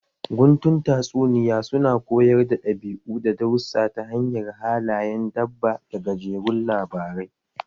Guntun tatsuniya su na koyar da ɗabi'u da darussa ta hanyar halayen dabba da gajerun labarai